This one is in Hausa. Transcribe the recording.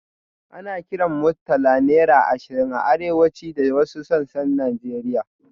Ana kiran Murtala naira ashirin a arewa da wasu sassan Najeriya.